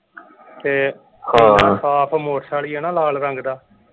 ਤੇ ਆਪ motorcycle ਸੀ ਨਾ ਲਾਲ ਰੰਗ ਦਾ।